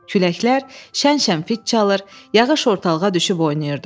Küləklər şən-şən fit çalır, yağış ortalığa düşüb oynayırdı.